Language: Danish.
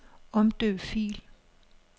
Omdøb fil.